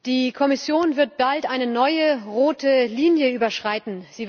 Die Kommission wird bald eine neue rote Linie überschreiten.